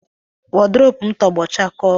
Wodrobu m tọgbọ chakoo.